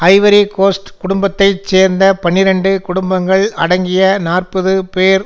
Ivory Coast குடும்பத்தை சேர்ந்த பன்னிரண்டு குடும்பங்கள் அடங்கிய நாற்பது பேர்